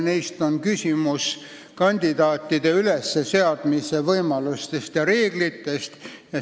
Esiteks, kandidaatide ülesseadmise võimalused ja reeglid.